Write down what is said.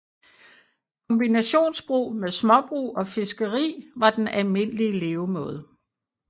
Kombinationsbrug med småbrug og fiskri var den almindelige levemåde